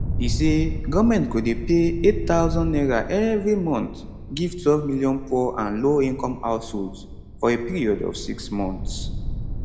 e say goment go dey pay n8000 evri month give twelve million poor and lowincome households for a period of six months